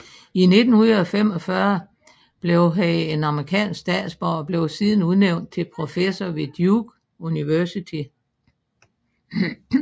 I 1945 blev han en amerikansk statsborger og blev siden udnævnt til professor ved Duke University